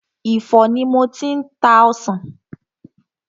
Ifo ni mo ti ń ta ọsàn.